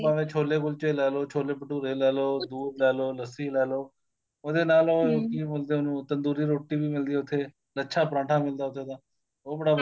ਭਾਵੇ ਛੋਲੇ ਕੁਲਚੇ ਲੈ ਲੋ ਛੋਲੇ ਭਟੂਰੇ ਲੈ ਲੋ ਦੁੱਧ ਲੈ ਲੋ ਲੱਸੀ ਲੈ ਲੋ ਉਹਦੇ ਨਾਲ ਕੀ ਬੋਲਦੇ ਏ ਉਹਨੂੰ ਤੰਦੂਰੀ ਰੋਟੀ ਵੀ ਮਿਲਦੀ ਏ ਉੱਥੇ ਲੱਛਾ ਪਰਾਂਠਾ ਮਿਲਦਾ ਉੱਥੇ ਦਾ ਉਹ ਬੜਾ